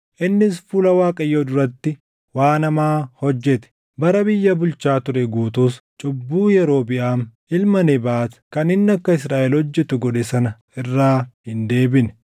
Innis fuula Waaqayyoo duratti waan hamaa hojjete. Bara biyya bulchaa ture guutuus cubbuu Yerobiʼaam ilma Nebaat kan inni akka Israaʼel hojjetu godhe sana irraa hin deebine.